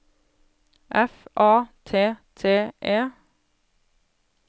F A T T E